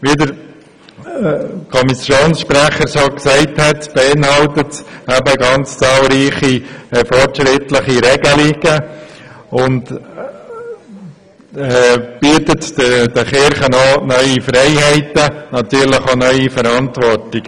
Wie der Kommissionssprecher gesagt hat, beinhaltet dieser Entwurf zahlreiche fortschrittliche Regelungen und bietet den Kirchen neue Freiheiten, und natürlich auch neue Verantwortungen.